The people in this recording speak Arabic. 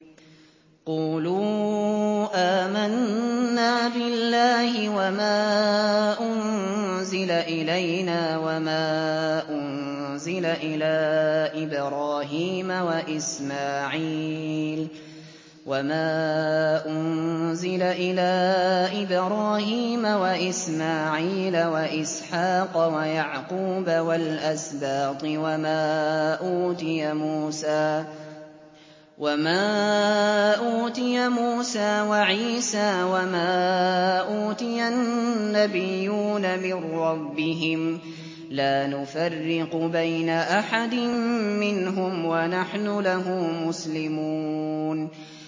قُولُوا آمَنَّا بِاللَّهِ وَمَا أُنزِلَ إِلَيْنَا وَمَا أُنزِلَ إِلَىٰ إِبْرَاهِيمَ وَإِسْمَاعِيلَ وَإِسْحَاقَ وَيَعْقُوبَ وَالْأَسْبَاطِ وَمَا أُوتِيَ مُوسَىٰ وَعِيسَىٰ وَمَا أُوتِيَ النَّبِيُّونَ مِن رَّبِّهِمْ لَا نُفَرِّقُ بَيْنَ أَحَدٍ مِّنْهُمْ وَنَحْنُ لَهُ مُسْلِمُونَ